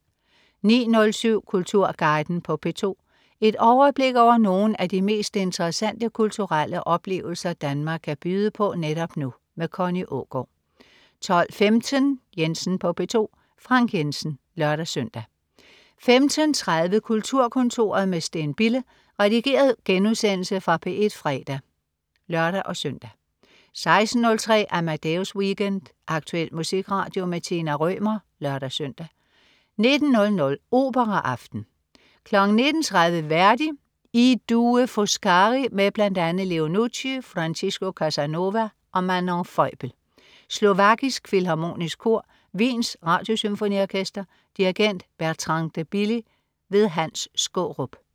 09.07 Kulturguiden på P2. Et overblik over nogle af de mest interessante kulturelle oplevelser Danmark kan byde på netop nu. Connie Aagaard 12.15 Jensen på P2. Frank Jensen (lør-søn) 15.30 Kulturkontoret med Steen Bille. Redigeret genudsendelse fra P1 fredag (lør-søn) 16.03 Amadeus Weekend. Aktuel musikradio. Tina Rømer (lør-søn) 19.00 Operaaften. 19.30 Verdi: I due Foscari med bl.a. Leo Nucci, Francisco Casanova og Manon Feubel. Slovakisk Filharmonisk Kor. Wiens Radiosymfoniorkester. Dirigent: Bertrand de Billy. Hans Skaarup